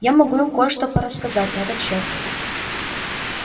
я могу им кое-что порассказать на этот счёт